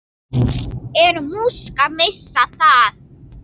Er Musk að missa það?